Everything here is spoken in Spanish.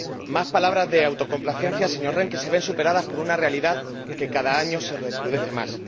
Más palabras de autocomplacencia, señor Rehn, que se ven superadas por una realidad que cada año se recrudece más.